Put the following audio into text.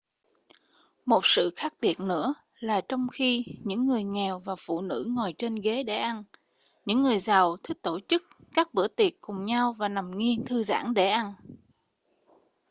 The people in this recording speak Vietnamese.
một sự khác biệt nữa là trong khi những người nghèo và phụ nữ ngồi trên ghế để ăn những người giàu thích tổ chức các bữa tiệc cùng nhau và nằm nghiêng thư giãn để ăn